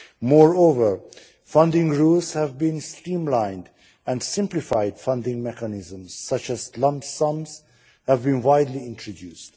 Moreover, funding rules have been streamlined and simplified funding mechanisms such as lump sums have been widely introduced.